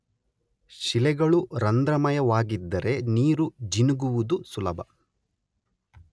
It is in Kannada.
ಶಿಲೆಗಳು ರಂಧ್ರಮಯವಾಗಿದ್ದರೆ ನೀರು ಜಿನುಗುವುದು ಸುಲಭ.